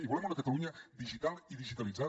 i volem una catalunya digital i digitalitzada